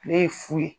Ale ye fu ye